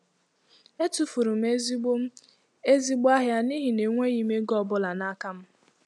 Etufuru m ezigbo m ezigbo ahịa n'ihi na enweghị m ego ọ bụla n'aka m.